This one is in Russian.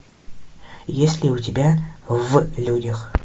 есть ли у тебя в людях